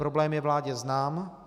Problém je vládě znám.